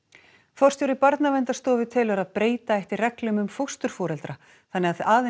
forstjóri Barnaverndarstofu telur að breyta ætti reglum um fósturforeldra þannig að aðeins